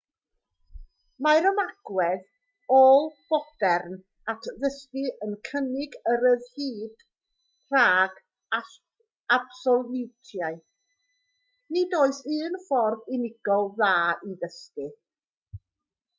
mae'r ymagwedd ôl-fodern at ddysgu yn cynnig y rhyddid rhag absoliwitau nid oes un ffordd unigol dda i ddysgu